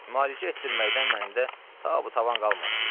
Müalicə etdirməkdən məndə ta bu tavan qalmamış.